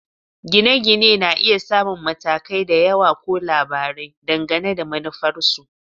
Gine-gine na iya samun matakai da yawa ko labarai, dangane da manufarsu